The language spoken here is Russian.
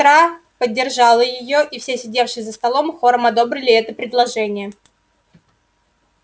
сестра поддержала её и все сидевшие за столом хором одобрили это предложение